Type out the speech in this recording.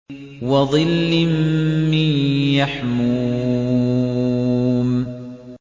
وَظِلٍّ مِّن يَحْمُومٍ